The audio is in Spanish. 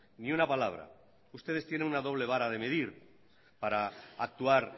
ni una palabra ustedes tienen una doble vara de medir para actuar